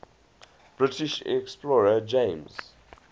british explorer james